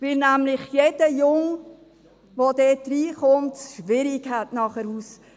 Denn jeder Junge, der dort hineingerät, hat es schwierig, wieder davon loszukommen.